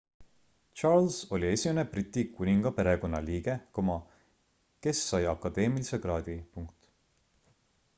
charles oli esimene briti kuningaperekonna liige kas sai akadeemilise kraadi